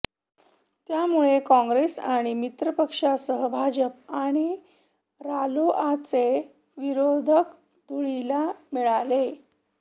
त्यामुळे काँग्रेस आणि मित्र पक्षांसह भाजप आणि रालोआचे विरोधक धुळीला मिळाले